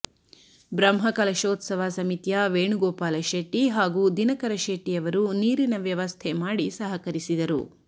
ಬ್ರಹ್ಮಕಲಶೋತ್ಸವ ಸಮಿತಿಯ ವೇಣುಗೋಪಾಲ ಶೆಟ್ಟಿ ಹಾಗೂ ದಿನಕರ ಶೆಟ್ಟಿಯವರು ನೀರಿನ ವ್ಯವಸ್ಥೆ ಮಾಡಿ ಸಹಕರಿಸಿದರು